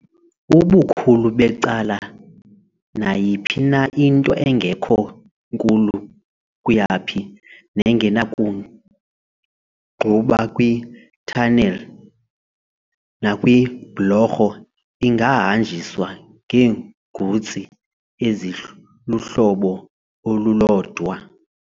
Ubukhulu becala nayiphi na into engekho nkulu kuyaphi nengenakungquba kwi-tunnel nakwiibhlorho ingahanjiswa ngeegutsi eziluhlobo olulodwa.